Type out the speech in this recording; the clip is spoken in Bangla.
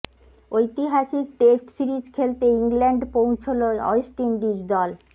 ঐতিহাসিক টেস্ট সিরিজ খেলতে ইংল্যান্ড পৌছল ওয়েস্ট ইন্ডিজ দল